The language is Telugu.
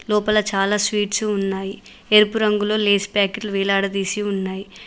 లోపల చాలా స్వీట్స్ ఉన్నాయి ఎరుపు రంగులో లేస్ ప్యాకెట్లు వేలాడదీసి ఉన్నాయి.